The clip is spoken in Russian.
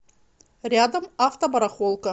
рядом автобарахолка